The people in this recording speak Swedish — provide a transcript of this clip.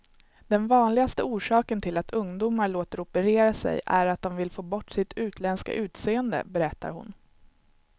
Den vanligaste orsaken till att ungdomar låter operera sig är att de vill få bort sitt utländska utseende, berättar hon.